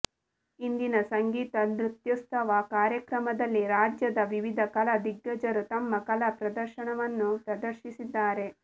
ಇಂದಿನ ಸಂಗೀತ ನೃತ್ಯೋತ್ಸವ ಕಾರ್ಯಕ್ರಮದಲ್ಲಿ ರಾಜ್ಯದ ವಿವಿಧ ಕಲಾ ದಿಗ್ಗಜರು ತಮ್ಮ ಕಲಾ ಪ್ರದರ್ಶನವನ್ನು ಪ್ರದರ್ಶಿಸಿದ್ದಾರೆ